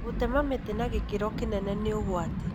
Gũtema mĩtĩ na gĩkĩro kĩnene nĩ ũgwati